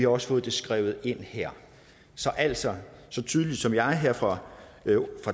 også fået det skrevet ind her så altså så tydeligt som jeg her fra